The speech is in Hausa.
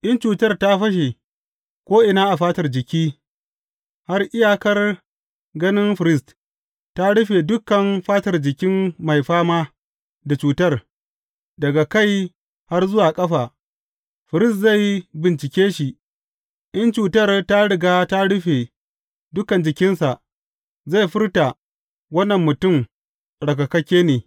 In cutar ta fashe ko’ina a fatar jiki, har iyakar ganin firist, ta rufe dukan fatar jikin mai fama da cutar, daga kai har zuwa ƙafa, firist zai bincike shi, in cutar ta riga ta rufe dukan jikinsa, zai furta wannan mutum tsarkakakke ne.